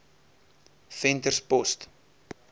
venterspost